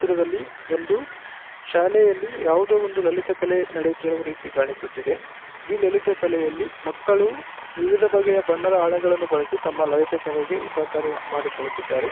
ಈ ಚಿತ್ರದಲ್ಲಿ ಒಂದು ಶಾಲೆಯಲ್ಲಿ ಯಾವುದೋ ಲಲಿತ ಕಲೆ ನಡೆಯುತ್ತಿರುವ ರೀತಿ ಕಾಣಿಸುತ್ತಿದೆ ಈ ಲಲಿತ ಕಲೆ ಯಲ್ಲಿ ಮಕ್ಕಳು ವಿವಿಧ ಬಗೆಯ ಬಣ್ಣದ ಅಳಗಳನ್ನು ಬಳಸಿ ತಮ್ಮ ಲಲಿತ ಕಲೆಗೆ ಉಪಕಾರ ಮಾಡಿಕೊಳ್ಳುತ್ತಿದ್ದಾರೆ